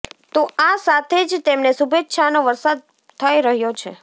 તો આ સાથે જ તેમને શુભેચ્છાનો વરસાદ થઇ રહ્યો છે